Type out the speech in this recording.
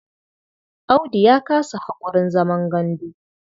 Audu ya kasa haƙurin zaman gandu.